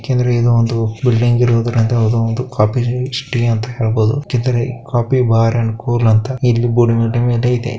ಯಾಕೆ ಅಂದರೆ ಇದು ಒಂದು ಬಿಲ್ಡಿಂಗ್ ಇರುವ ಒಂದು ಕಾಫಿ ಸ್ಟೇ ಅಂತ ಹೇಳಬಹುದು .ಕಾಫಿ ಬಾರ್ ಅಂಡ್ ಕೂಲ್ ಅಂತ ಇಲ್ಲಿ ಬೋರ್ಡ್ ಮೇಲೆ ಇದೆ.